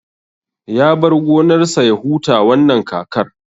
Ya bar gonar sa ya huta wannan kakar